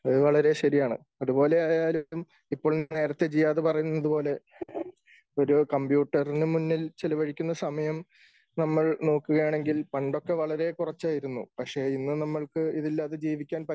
അത് വളരെ ശരിയാണ്. അതു പോലെ ആയാലും ഇപ്പോൾ നേരത്തെ ജിയാദ് പറയുന്നതുപോലെ ഒരു കമ്പ്യൂട്ടറിന് മുന്നിൽ ചിലവഴിക്കുന്ന സമയം നമ്മൾ നോക്കുകയാണെങ്കിൽ പണ്ടൊക്കെ വളരെ കുറച്ച് ആയിരുന്നു. പക്ഷെ ഇന്ന് നമ്മൾക്ക് ഇത് ഇല്ലാതെ ജീവിക്കാൻ